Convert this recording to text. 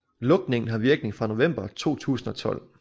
Lukningen har virkning fra november 2012